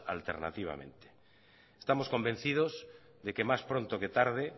alternativamente estamos convencidos de que más pronto que tarde